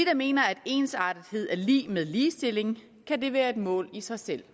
mener at ensartethed er lig med ligestilling kan det være et mål i sig selv